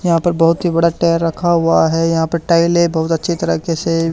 यहां पर बहुत ही बड़ा टायर रखा हुआ है यहां पे टाइलें बहुत अच्छी तरीके से--